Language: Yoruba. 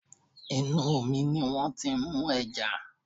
Inú omi ni wọ́n ti ń mú ẹja